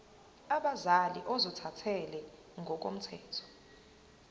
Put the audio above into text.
abazali ozothathele ngokomthetho